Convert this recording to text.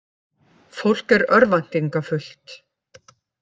Fólk er örvæntingarfullt